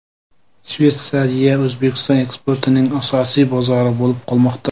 Shveysariya O‘zbekiston eksportining asosiy bozori bo‘lib qolmoqda.